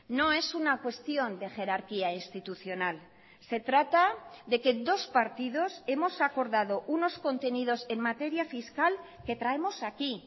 no es una cuestión de jerarquía institucional se trata de que dos partidos hemos acordado unos contenidos en materia fiscal que traemos aquí